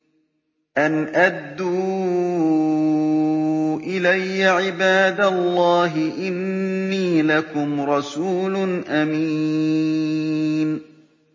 أَنْ أَدُّوا إِلَيَّ عِبَادَ اللَّهِ ۖ إِنِّي لَكُمْ رَسُولٌ أَمِينٌ